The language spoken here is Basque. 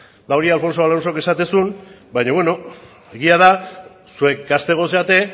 hori alfonso alonsok esaten zuen baina beno egia da zuek gazteagoak zarete